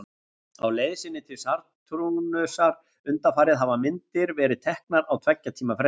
Á leið sinni til Satúrnusar undanfarið hafa myndir verið teknar á tveggja tíma fresti.